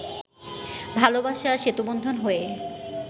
ভালোবাসার সেতুবন্ধন হয়ে